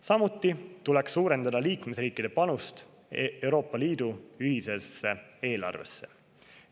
Samuti tuleks suurendada liikmesriikide panust Euroopa Liidu ühisesse eelarvesse.